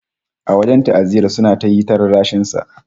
A wajen ta'aziyyar, sun yi ta rarrashin sa